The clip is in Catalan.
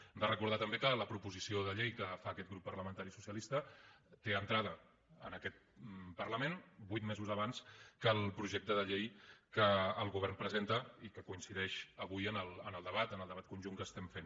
hem de recordar també que la proposició de llei que fa aquest grup parlamentari socialista té entrada en aquest parlament vuit mesos abans que el projecte de llei que el govern presenta i que coincideix avui en el debat en el debat conjunt que estem fent